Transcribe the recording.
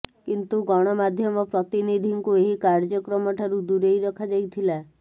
କିନ୍ତୁ ଗଣମାଧ୍ୟମ ପ୍ରତିନିଧିଙ୍କୁ ଏହି କାର୍ୟ୍ୟକ୍ରମକୁ ଠାରୁ ଦୂରେଇ ରଖାଯାଇଥିଲା